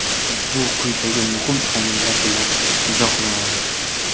Bu quyidagi muhim omillar bilan izohlanadi.